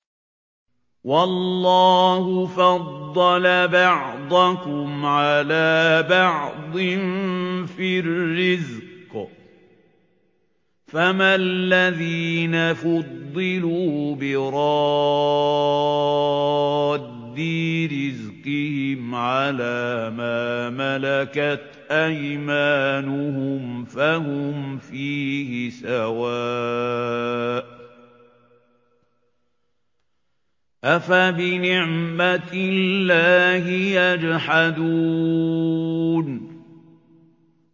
وَاللَّهُ فَضَّلَ بَعْضَكُمْ عَلَىٰ بَعْضٍ فِي الرِّزْقِ ۚ فَمَا الَّذِينَ فُضِّلُوا بِرَادِّي رِزْقِهِمْ عَلَىٰ مَا مَلَكَتْ أَيْمَانُهُمْ فَهُمْ فِيهِ سَوَاءٌ ۚ أَفَبِنِعْمَةِ اللَّهِ يَجْحَدُونَ